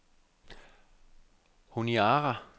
Honiara